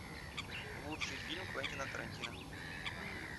лучший фильм квентина тарантино